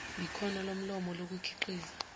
yikhono lomlomo lokukhiqiza